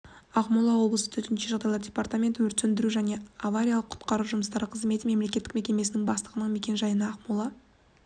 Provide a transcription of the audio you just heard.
ақмола облысы төтенше жағдайлар департаменті өрт сөндіру және авариялық-құтқару жұмыстары қызметі мемлекеттік мекемесінің бастығының мекен-жайына ақмола